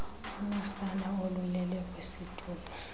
unosana olulele kwisitulo